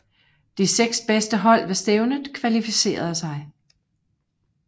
De seks bedste hold ved stævnet kvalificerede sig